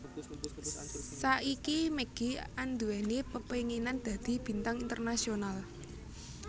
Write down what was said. Saiki Maggie anduweni pepenginan dadi bintang internasional